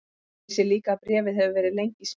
Ég sé líka að bréfið hefur verið lengi í smíðum og